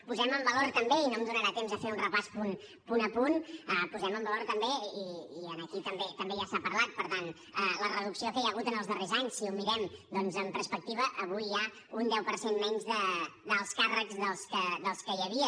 posem en valor també i no em donarà temps a fer un repàs punt a punt i aquí també se n’ha parlat per tant la reducció que hi ha hagut en els darrers anys si ho mirem doncs en perspectiva avui hi ha un deu per cent menys d’alts càrrecs dels que hi havia